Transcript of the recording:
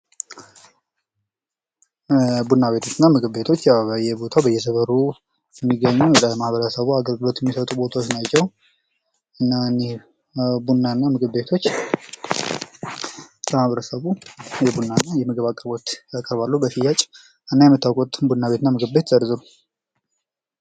ቡና ቤቶች እና ምግብ ቤቶች በየቦታው አግልግሎት እየሰጠ የሚገኝ ሲሆን ምታውቁትን ዝርዝር?